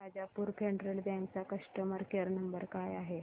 Rajapur Federal Bank चा customer care number काय आहे